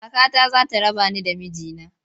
Kakata za ta raba ni da miji na.